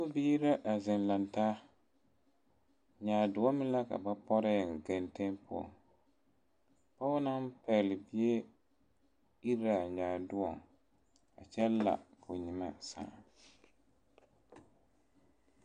Sakubiiri la a zeŋ laŋ taa nyaadoɔ meŋ la ka ba pɔre eŋ genteŋ poɔŋ pɔge naŋ pɛgle bie iri la a nyaadoɔ a kyɛ la k,o nyemɛ sãã.